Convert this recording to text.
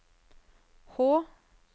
Hå